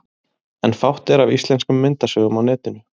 En fátt er af íslenskum myndasögum á netinu.